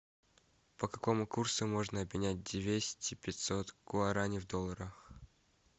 по какому курсу можно обменять двести пятьсот гуарани в долларах